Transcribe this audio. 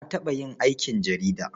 Na taɓa yin aikin jarida.